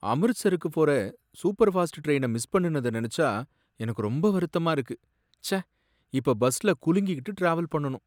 அம்ரித்ஸருக்கு போற சூப்பர்ஃபாஸ்ட் ட்ரெயின மிஸ் பண்ணுனத நினைச்சா எனக்கு ரொம்ப வருத்தமா இருக்கு! ச்சே, இப்ப பஸ்ல குலுங்கிகிட்டு ட்ராவல் பண்ணனும்.